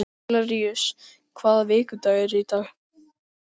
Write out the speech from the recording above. Hilaríus, hvaða vikudagur er í dag?